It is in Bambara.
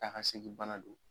Taa ka segi bana do